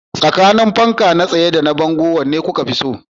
Tsakanin fanka na tsaye da fanfo, wanne kuka fi so?